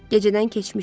Gecədən keçmişdi.